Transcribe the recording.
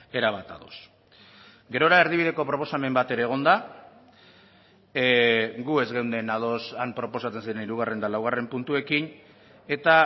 erabat ados gerora erdibideko proposamen bat ere egon da gu ez geunden ados han proposatzen zen hirugarren eta laugarren puntuekin eta